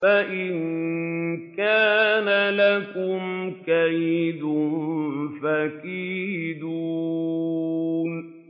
فَإِن كَانَ لَكُمْ كَيْدٌ فَكِيدُونِ